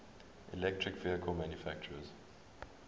electric vehicle manufacturers